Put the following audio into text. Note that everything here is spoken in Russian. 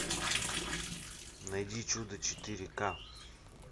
найди чудо четыре ка